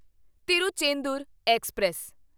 Tiruchendur express